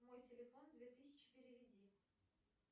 мой телефон две тысячи переведи